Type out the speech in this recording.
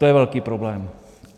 To je velký problém.